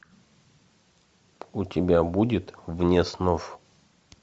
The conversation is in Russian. у тебя будет вне снов